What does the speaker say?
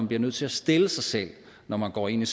bliver nødt til at stille sig selv når man går ind i